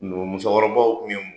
Numu musokɔrɔbaw kun ye mun ye